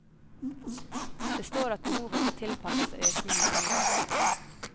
Det står at behovet skal tilpasses økningen i behovet.